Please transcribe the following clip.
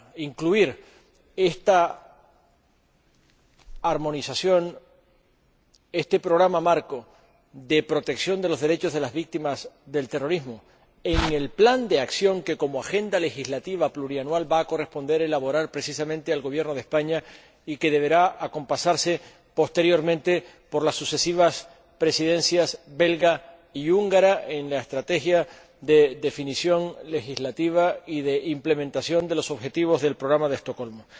incluir esta armonización, este programa marco de protección de los derechos de las víctimas del terrorismo en el plan de acción que, como agenda legislativa plurianual va a corresponder elaborar precisamente al Gobierno de España y que deberá acompasarse posteriormente por las sucesivas presidencias belga y húngara en la estrategia de definición legislativa y de implementación de los objetivos del Programa de Estocolmo.